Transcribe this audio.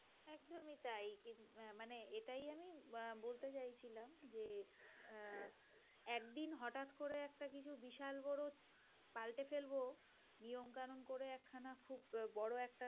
আহ বলতে চাইছিনা যে আহ একদিন হঠাৎ করে একটা কিছু বিশাল বড় পাল্টে ফেলব । নিয়ম কানুন করে একখানা খুব বড় একটা